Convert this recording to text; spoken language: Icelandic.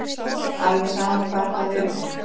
Alveg sama hvar það yrði.